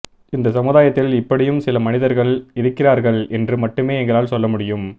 இந்த சமுதாயத்தில் இப்படியும் சில மனிதர்கள் இருக்கிறார்கள் என்று மட்டுமே எங்களால் சொல்ல முடியும்